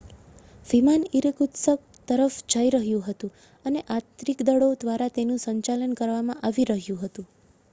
વિમાન ઇરકુત્સ્ક તરફ જઈ રહ્યું હતું અને આંતરિક દળો દ્વારા તેનું સંચાલન કરવામાં આવી રહ્યું હતું